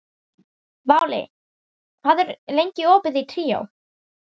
Váli, hvað er lengi opið í Tríó?